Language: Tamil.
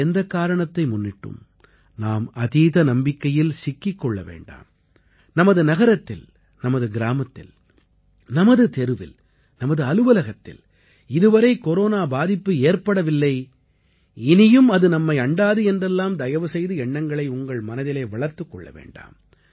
எந்தக் காரணத்தை முன்னிட்டும் நாம் அதீத நம்பிக்கையில் சிக்கிக் கொள்ள வேண்டாம் நமது நகரத்தில் நமது கிராமத்தில் நமது தெருவில் நமது அலுவலகத்தில் இதுவரை கொரோனா பாதிப்பு ஏற்படவில்லை இனியும் அது நம்மை அண்டாது என்றெல்லாம் தயவுசெய்து எண்ணங்களை உங்கள் மனதிலே வளர்த்துக் கொள்ள வேண்டாம்